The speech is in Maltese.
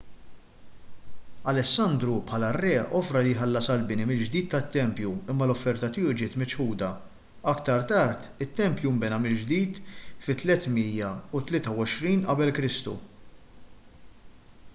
alessandru bħala r-re offra li jħallas għall-bini mill-ġdid tat-tempju imma l-offerta tiegħu ġiet miċħuda aktar tard it-tempju nbena mill-ġdid fit-323 qek